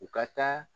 U ka taa